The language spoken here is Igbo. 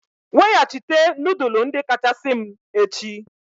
Weghachite nudulu ndi kachasị m echi!